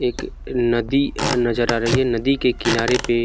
एक अ नदी अ नज़र आ रही है नदी के किनारे पे --